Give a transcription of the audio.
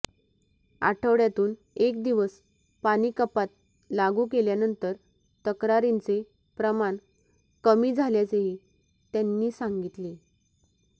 आठवड्यातून एक दिवस पाणी कपात लागू केल्यानंतर तक्रारींचे प्रमाण कमी झाल्याचेही त्यांनी सांगितले